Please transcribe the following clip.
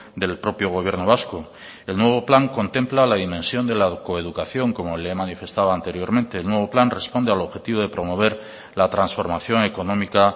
del propio gobierno vasco el nuevo plan contempla la dimensión de la coeducación como le he manifestado anteriormente el nuevo plan responde al objetivo de promover la transformación económica